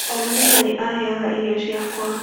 O mũthenya nĩ aheaga irio ciakwa.